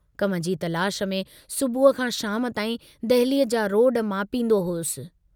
कम जी तलाश में सुबुह खां शाम ताईं दहलीअ जा रोड मापींदो हुअसि।